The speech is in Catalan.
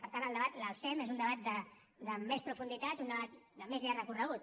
per tant el debat l’alcem és un debat de més profunditat un debat de més llarg recorregut